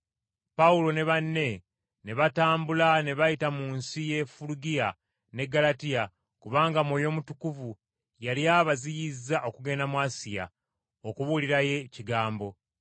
Pawulo ne banne ne batambula ne bayita mu nsi y’e Fulugiya n’e Ggalatiya kubanga Mwoyo Mutukuvu yali abaziyizza okugenda mu Asiya okubuulirayo Ekigambo.